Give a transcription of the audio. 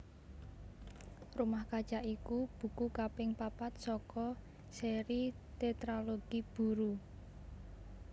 Rumah Kaca iku buku kaping papat saka séri Tétralogi Buru